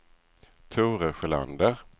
Tore Sjölander